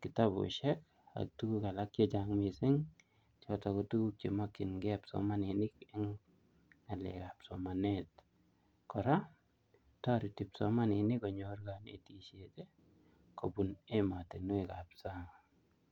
kitabusiek ak tuguk alak chechang missing choton ko tuguk chemokyingen kipsomaninik en ng'alek ab somanet, kora toreti psomaninik konyor konetisiet kobun emotinwek ab sang'.